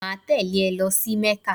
Máa tèlé e lo sí Mékà